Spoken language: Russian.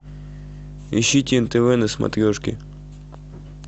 ищите нтв на смотрешке